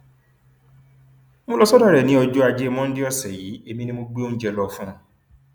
mo lọ sọdọ rẹ ní ọjọ ajé monde ọsẹ yìí èmi ni mo gbé oúnjẹ lọ fún un